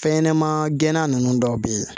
Fɛn ɲɛnɛma gɛnna nunnu dɔw be yen